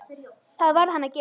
Það varð hann að gera.